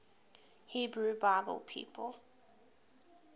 hebrew bible people